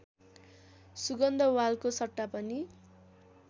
सुगन्धवालको सट्टा पनि